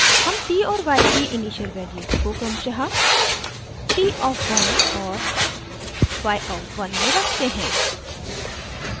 हम t और y की इनिशियल वैल्यूज़ को क्रमशः t of one और y of one में रखते हैं